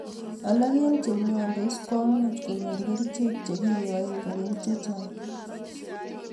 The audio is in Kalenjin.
Alak en chemyondos komuche konyor kerichek che kinyoen konyil chechang